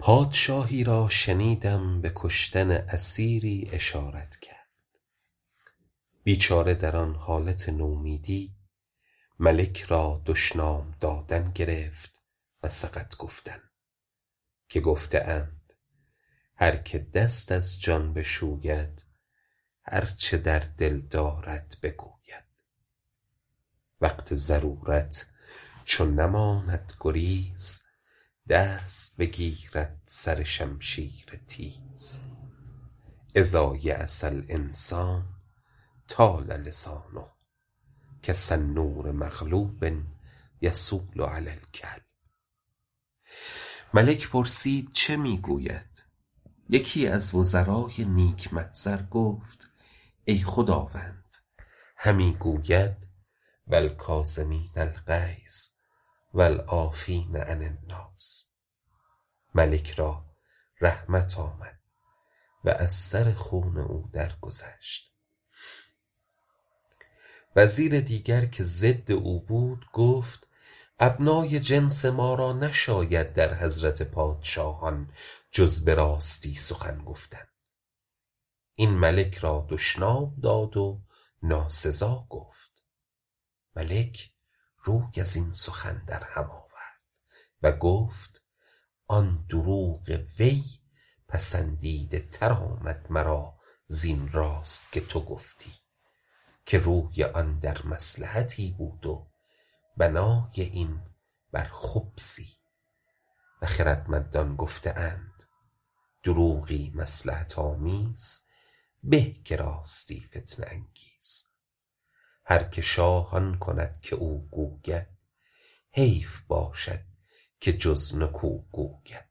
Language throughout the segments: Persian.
پادشاهی را شنیدم به کشتن اسیری اشارت کرد بیچاره در آن حالت نومیدی ملک را دشنام دادن گرفت و سقط گفتن که گفته اند هر که دست از جان بشوید هر چه در دل دارد بگوید وقت ضرورت چو نماند گریز دست بگیرد سر شمشیر تیز إذا ییس الإنسان طال لسانه کسنور مغلوب یصول علی الکلب ملک پرسید چه می گوید یکی از وزرای نیک محضر گفت ای خداوند همی گوید و الکاظمین الغیظ و العافین عن الناس ملک را رحمت آمد و از سر خون او درگذشت وزیر دیگر که ضد او بود گفت ابنای جنس ما را نشاید در حضرت پادشاهان جز به راستی سخن گفتن این ملک را دشنام داد و ناسزا گفت ملک روی از این سخن در هم آورد و گفت آن دروغ وی پسندیده تر آمد مرا زین راست که تو گفتی که روی آن در مصلحتی بود و بنای این بر خبثی و خردمندان گفته اند دروغی مصلحت آمیز به که راستی فتنه انگیز هر که شاه آن کند که او گوید حیف باشد که جز نکو گوید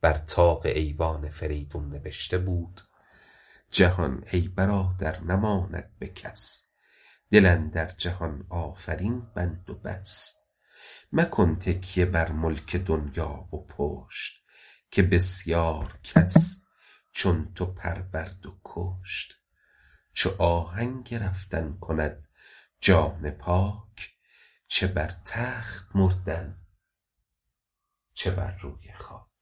بر طاق ایوان فریدون نبشته بود جهان ای برادر نماند به کس دل اندر جهان آفرین بند و بس مکن تکیه بر ملک دنیا و پشت که بسیار کس چون تو پرورد و کشت چو آهنگ رفتن کند جان پاک چه بر تخت مردن چه بر روی خاک